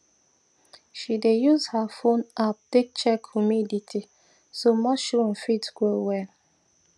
she dey use her phone app to check humidity so mushroom fit grow well